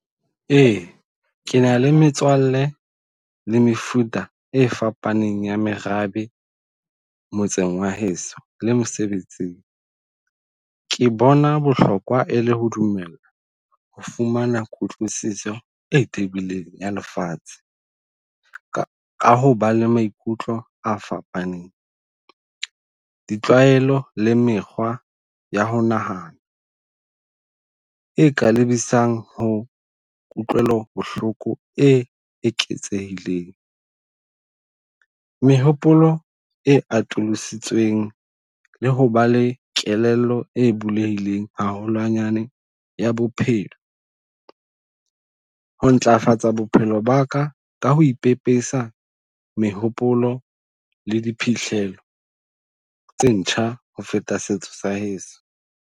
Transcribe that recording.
Ee, kena le metswalle le mefuta e fapaneng ya merabe motseng wa heso le mosebetsing. Ke bona bohlokwa e le ho dumela ho fumana kutlwisiso e tebileng ya lefatshe ka ho ba le maikutlo a fapaneng. Ditlwaelo le mekgwa ya ho nahana e ka lebisang ho kutlwelo bohloko e eketsehileng. Mehopolo e atolositsweng le ho ba le kelello e bulehileng haholwanyane ya bophelo, ho ntlafatsa bophelo ba ka ka ho ipepesa mehopolo le diphihlello tse ntjha ho feta setso sa heso.